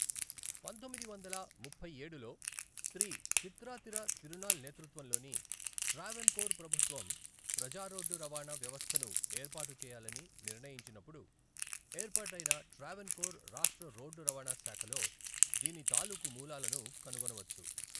పంతొమ్మిది వందల ముప్ఫైఏడులో శ్రీ చిత్రాతిర తిరునాల్ నేతృత్వంలోని ట్రావెన్కోర్ ప్రభుత్వం ప్రజా రోడ్డు రవాణా వ్యవస్థను ఏర్పాటు చేయాలని నిర్ణయించినప్పుడు ఏర్పాటైన ట్రావెన్కోర్ రాష్ట్ర రోడ్డు రవాణా శాఖలో దీని తాలూకు మూలాలను కనుగొనవచ్చు.